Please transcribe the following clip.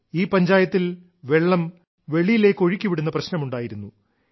ഈ പഞ്ചായത്തിൽ വെള്ളം വെളിയിലേക്ക് ഒഴുക്കിവിടുന്ന പ്രശ്നമുണ്ടായിരുന്നു